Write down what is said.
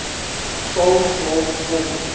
sal word om